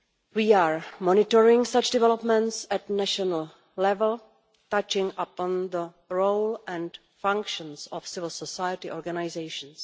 We are monitoring such developments at national level, touching upon the role and functions of civil society organisations.